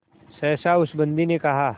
सहसा उस बंदी ने कहा